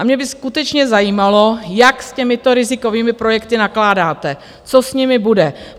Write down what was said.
A mě by skutečně zajímalo, jak s těmito rizikovými projekty nakládáte, co s nimi bude.